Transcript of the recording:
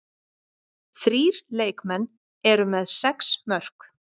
Þrír leikmenn eru með sex mörk.